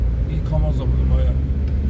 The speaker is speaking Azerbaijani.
İki kamaz olmalıdır, ayə.